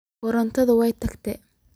Korontadhi way tagtey.